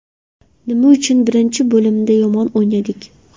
Nima uchun birinchi bo‘limda yomon o‘ynadik?